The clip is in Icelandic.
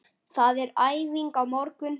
Það er æfing á morgun.